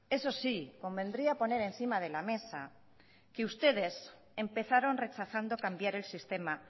eso sí convendría poner encima de la mesa que ustedes empezaron rechazando cambiar el sistema